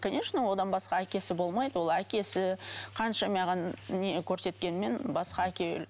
конечно одан басқа әкесі болмайды ол әкесі қанша маған не көрсеткенімен басқа әке